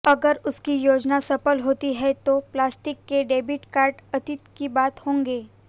अगर उसकी योजना सफल होती है तो प्लास्टिक के डेबिट कार्ड अतीत की बात होंगे